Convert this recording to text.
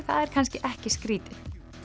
það er kannski ekki skrítið